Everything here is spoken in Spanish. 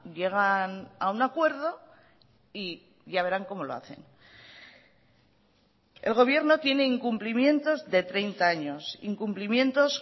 llegan a un acuerdo y ya verán cómo lo hacen el gobierno tiene incumplimientos de treinta años incumplimientos